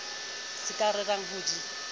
se ka rerang ho di